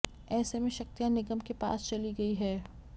ऐसे में शक्तियां निगम के पास चली गई है